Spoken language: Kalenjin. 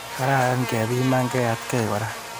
Kararan kepimanigee atkei kora.